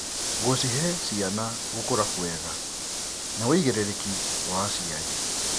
Gũcihe ciana gũkũra kwega nĩ wĩigĩrĩrĩki wa aciari.